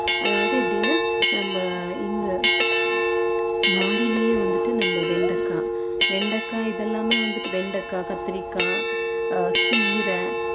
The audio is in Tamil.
அதாவது எப்படின்னா நம்ம இந்த மாடியிலேயே வந்துட்டு நம்ம வெண்டக்கா வெண்டைக்காய் இதெல்லாமே வந்துட்டு வெண்டைக்காய், கத்திரிக்காய், கீரை